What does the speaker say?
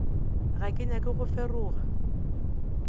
ga ke nyake go feroga